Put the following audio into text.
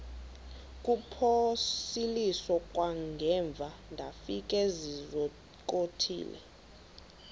kuphosiliso kwangaemva ndafikezizikotile